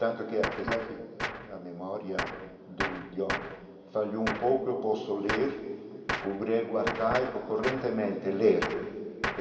Tanto que, apesar que a memória do idioma falhou um pouco, eu posso ler o grego arcaico correntemente, ler.